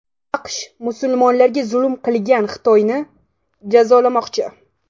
AQSh musulmonlarga zulm qilgan Xitoyni jazolamoqchi.